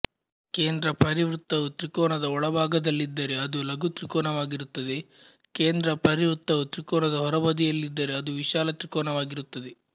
ಕೇಂದ್ರ ಪರಿವೃತ್ತವು ತ್ರಿಕೋನದ ಒಳಭಾಗದಲ್ಲಿದ್ದರೆ ಅದು ಲಘು ತ್ರಿಕೋನವಾಗಿರುತ್ತದೆ ಕೇಂದ್ರ ಪರಿವೃತ್ತವು ತ್ರಿಕೋನದ ಹೊರಬದಿಯಲ್ಲಿದ್ದರೆ ಅದು ವಿಶಾಲ ತ್ರಿಕೋನವಾಗಿರುತ್ತದೆ